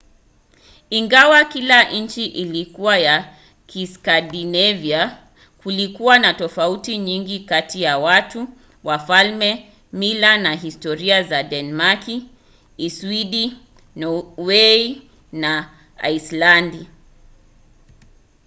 ingawa kila nchi ilikuwa ya 'kiskandinavia' kulikuwa na tofauti nyingi kati ya watu wafalme mila na historia za denmaki uswidi norway na aislandi